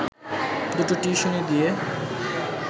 দুটো টিউশনি দিয়ে